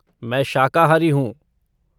मैं शाकाहारी हूँ।